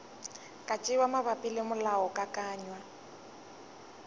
ka tšewa mabapi le molaokakanywa